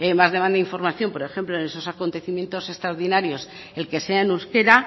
más demanda información por ejemplo en esos acontecimientos extraordinarios el que sea en euskera